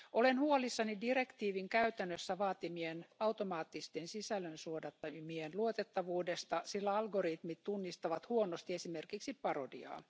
Olen huolissani direktiivin käytännössä vaatimien automaattisten sisällönsuodattimien luotettavuudesta, sillä algoritmit tunnistavat huonosti esimerkiksi parodiaa.